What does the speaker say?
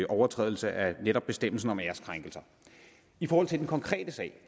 overtrædelse af netop bestemmelsen om æreskrænkelser i forhold til den konkrete sag